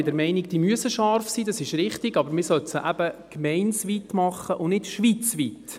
Ja, ich bin der Meinung, dass diese scharf sein müssen, aber man sollte sie eben gemeindeweit machen und nicht schweizweit.